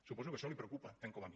suposo que això li preocupa tant com a mi